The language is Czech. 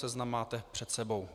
Seznam máte před sebou.